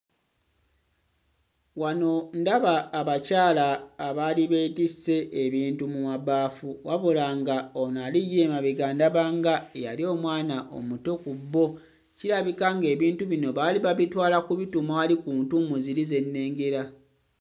Wano ndaba abakyala abaali beetisse ebintu mu mabaafu wabula nga ono ali ye emabega ndaba nga eyali omwana omuto ku bo. Kirabika ng'ebintu bino baali babitwala kubituuma wali ku ntuumu ziri ze nnengera.